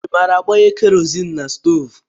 I maara agbanye Kerọzin na stoovú?